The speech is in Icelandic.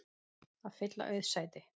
að fylla auð sæti.